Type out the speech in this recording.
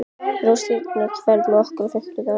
Rósinkara, ferð þú með okkur á fimmtudaginn?